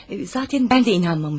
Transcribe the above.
Zatən mən də inanmamışdım.